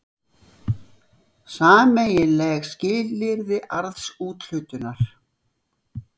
Sameiginleg skilyrði arðsúthlutunar.